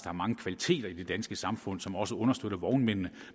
er mange kvaliteter i det danske samfund som også understøtter vognmændene